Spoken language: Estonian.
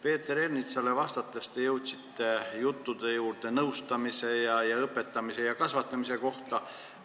Peeter Ernitsale vastates te jõudsite juttudeni nõustamise, õpetamise ja kasvatamise kohta.